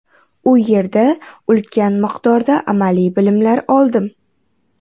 U yerda ulkan miqdorda amaliy bilimlar oldim.